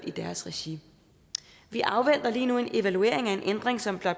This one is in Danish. i deres regi vi afventer lige nu en evaluering af en ændring som